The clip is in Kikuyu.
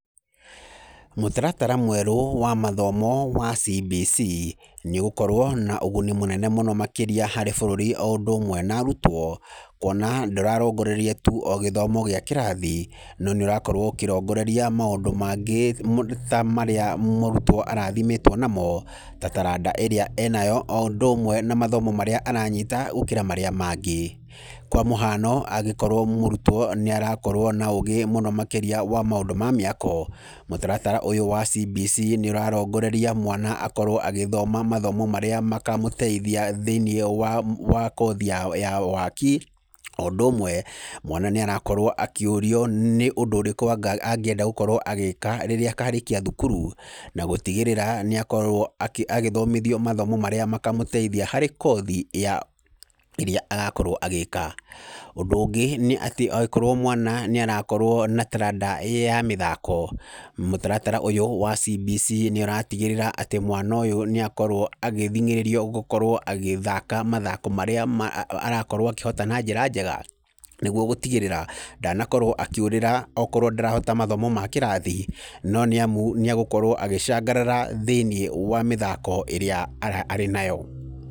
Mũtaratara mwerũ wa mathomo wa CBC, nĩ ũgũkorwo na moguni maingĩ makĩria harĩ bũrũri o ũndũ ũmwe na arutwo . Kuona ndũrarongoreria tuu o gĩthomo gĩa kĩrathi, no nĩ ũrakorwo ũkĩrongoreria maũndũ mangĩ ta marĩa mũrutwo arathimĩtwo namo. Ta taranda ĩrĩa enayo o ũndũ ũmwe na mathomo marĩa aranyita gũkĩra marĩa mangĩ. Kwa mũhano, angĩkorwo mũrutwo nĩ arakorwo na ũũgĩ mũno makĩria wa maũndũ ma mĩako, mũtaratara ũyũ CBC nĩ ũrarongoreria mwana akorwo agĩthoma mathomo marĩa makamũteithia thĩiniĩ wa kothi ya waki. O ũndũ ũmwe mwana nĩ arakorwo akĩũrio nĩ ũndũ ũrĩkũ angĩenda gũkorwo agĩka rĩrĩa akarĩkia thukuru. Na gũtigĩrĩra nĩ akorwo agĩthomithio mathomo marĩa makamũteithia harĩ kothi ĩrĩa agakorwo agĩka. Ũndũ ũngĩ nĩ atĩ akorwo mwana nĩ arakorwo na taranda ya mĩthako, mũtaratara ũyũ wa CBC nĩ ũratigĩrĩra atĩ mwana ũyũ nĩ akorwo agĩthing'ĩrĩrio gũkorwo agĩthaka mathako marĩa arakorwo akĩhota na njĩra njega, nĩguo gũtigĩrĩra ndanakorwo akĩũrĩra okorwo ndanahota mathomo ma kĩrathi, no nĩ amũ nĩ egũkorwo agĩcangarara thĩiniĩ wa mĩthako ĩrĩa arĩ nayo.